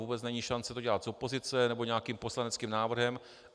Vůbec není šance to dělat z opozice nebo nějakým poslaneckým návrhem.